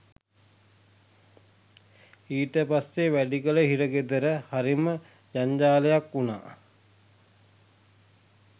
ඊට පස්සෙ වැලිකඩ හිර ගෙදර හරිම ජංජාලයක් වුණා